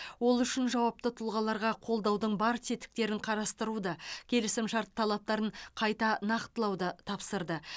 ол үшін жауапты тұлғаларға қолдаудың бар тетіктерін қарастыруды келісімшарт талаптарын қайта нақтылауды тапсырды